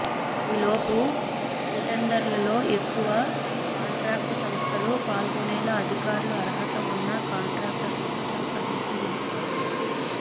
ఈలోపు రీటెండర్లలో ఎక్కువ కాంట్రాక్టు సంస్థలు పాల్గొనేలా అధికారులు అర్హత ఉన్న కాంట్రాక్టర్లతో సంప్రదింపులు జరుపుతారు